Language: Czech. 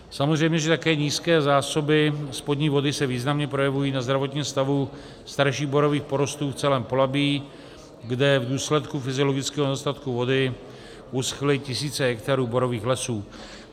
Samozřejmě že také nízké zásoby spodní vody se významně projevují na zdravotním stavu starších borových porostů v celém Polabí, kde v důsledku fyziologického nedostatku vody uschly tisíce hektarů borových lesů.